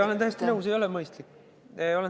Olen täiesti nõus, ei ole mõistlik.